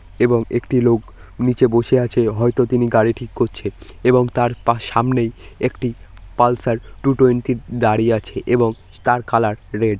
এবং একটি লোক নীচে বসে আছে হয়তো তিনি গাড়ি ঠিক করছে এবং তার পা সামনেই একটি পালসার টু টোয়েন্টি দাঁড়িয়ে আছে এবং তার কালার রেড